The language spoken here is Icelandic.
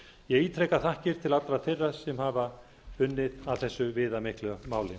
ég ítreka þakkir til allra þeirra sem hafa unnið að þessu viðamikla máli